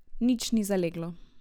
Nič ni zaleglo.